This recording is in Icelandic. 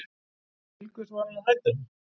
Til hvers var hann að hætta?